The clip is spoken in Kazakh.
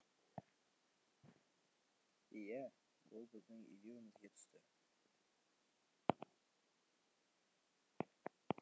иә ол біздің илеуімізге түсті